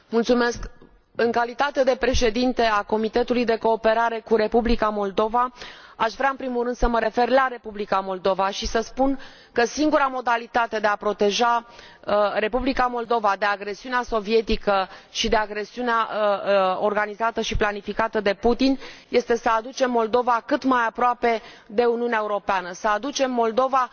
Domnule, Președinte, în calitate de președintă a Comitetului de cooperare cu Republica Moldova aș vrea, în primul rând, să mă refer la Republica Moldova și să spun că singura modalitate de a proteja Republica Moldova de agresiunea sovietică și de agresiunea organizată și planificată de Putin este să aducem Moldova cât mai aproape de Uniunea Europeană, să aducem Moldova